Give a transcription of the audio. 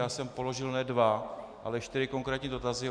Já jsem položil ne dva, ale čtyři konkrétní dotazy.